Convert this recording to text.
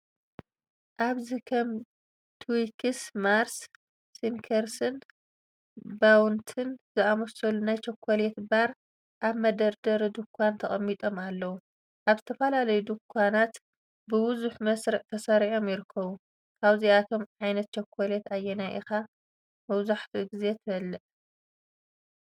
ኣብዚ ከም ትዊክስ፡ ማርስ፡ ስኒከርስን ባውንቲን ዝኣመሰሉ ናይ ቸኮሌት ባር ኣብ መደርደሪ ድኳን ተቐሚጦም ኣለዉ። ኣብ ዝተፈላለዩ ድኳናት ብብዙሕ መስርዕ ተሰሪዖም ይርከቡ። ካብዞም ዓይነት ቸኮሌት ኣየናይ ኢኻ መብዛሕትኡ ግዜ ትበልዕ?